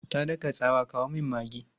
Ta daka tsawa, 'kawo min maggi!'